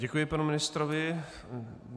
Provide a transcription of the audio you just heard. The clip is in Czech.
Děkuji panu ministrovi.